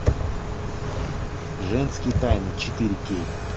женские тайны четыре кей